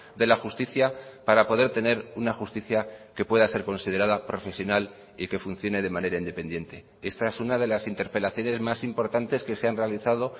de la justicia para poder tener una justicia que pueda ser considerada profesional y que funcione de manera independiente esta es una de las interpelaciones más importantes que se han realizado